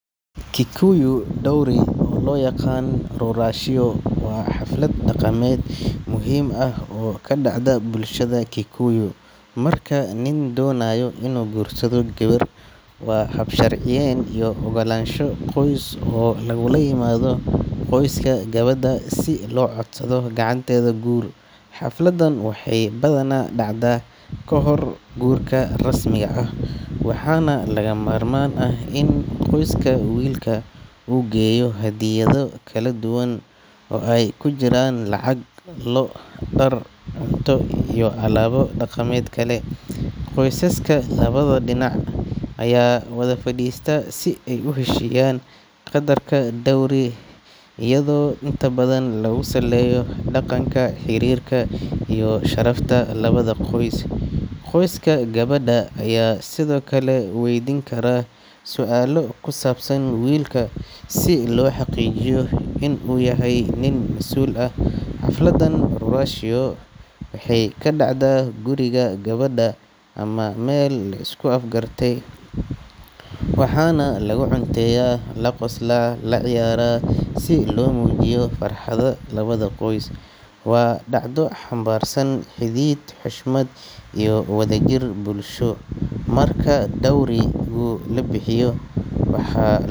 Kikuyu dowry, oo loo yaqaan ruracio, waa xaflad dhaqameed muhiim ah oo ka dhacda bulshada Kikuyu marka nin doonayo inuu guursado gabar. Waa hab sharciyeyn iyo ogolaansho qoys oo lagula yimaado qoyska gabadha si loo codsado gacanteeda guur. Xafladan waxay badanaa dhacdaa ka hor guurka rasmiga ah, waxaana lagama maarmaan ah in qoyska wiilka uu geeyo hadiyado kala duwan oo ay ku jiraan lacag, lo’, dhar, cunto iyo alaabo dhaqameed kale. Qoysaska labada dhinac ayaa wada fadhiista si ay u heshiiyaan qaddarka dowry-ga, iyadoo inta badan lagu saleeyo dhaqanka, xiriirka iyo sharafta labada qoys. Qoyska gabadha ayaa sidoo kale waydiin kara su'aalo ku saabsan wiilka si loo xaqiijiyo inuu yahay nin masuul ah. Xafladan ruracio waxay ka dhacdaa guriga gabadha ama meel la isku afgartay, waxaana lagu cunteeyaa, la qoslaa, lana ciyaaraa si loo muujiyo farxadda labada qoys. Waa dhacdo xambaarsan xidhiidh, xushmad iyo wadajir bulsho. Marka dowry-gu la bixiyo, waxa loo.